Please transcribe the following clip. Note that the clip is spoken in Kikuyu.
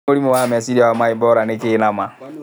Hihi mũrimũ wa meciria wa Mbaebora nĩkĩĩ nama?